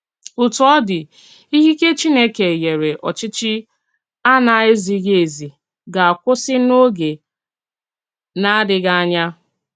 Ótú ọ dị̀, ìkìkè Chínèkè nyèrè òchìchì à na-èzíghì-èzí gà-akwúsì n’ógè na-adìghì ànyà.